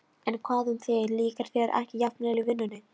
En hvað um þig, líkar þér ekki jafnvel í vinnunni?